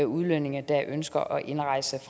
udlændinge der ønsker at indrejse